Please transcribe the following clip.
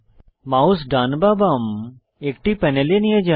mouse ডান বা বাম একটি প্যানেলে নিয়ে যান